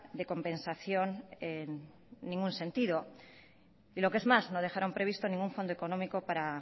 de compensación en ningún sentido y lo que es más no dejaron previsto ningún fondo económico para